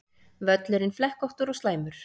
Völlurinn flekkóttur og slæmur